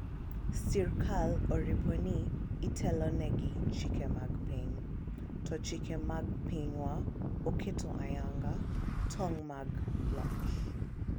sirikal oripo ni itelo ne gi chike mag piny, to chike mag pinywa oketo ayanga tong' mag loch